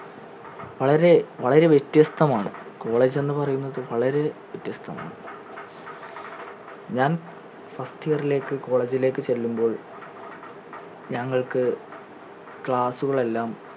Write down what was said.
വളരെ വളരെ വ്യത്യസ്തമാണ് college എന്ന് പറയുന്നത് വളരെ വ്യത്യസ്തമാണ് ഞാൻ first year ലേക് college ലേക്ക് ചെല്ലുമ്പോൾ ഞങ്ങൾക്ക് class ഉകളെല്ലാം